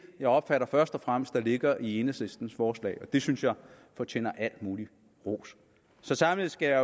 jeg opfatter først og fremmest ligger i enhedslistens forslag og det synes jeg fortjener al mulig ros så samlet skal jeg